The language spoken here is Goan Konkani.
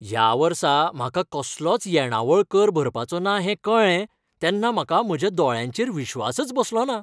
ह्या वर्सा म्हाका कसलोच येणावळ कर भरपाचो ना हें कळ्ळें तेन्ना म्हाका म्हज्या दोळ्यांचेर विश्वासच बसलोना!